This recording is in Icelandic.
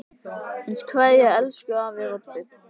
HINSTA KVEÐJA Elsku afi Robbi.